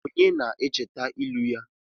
Onye na-echeta ilu ya?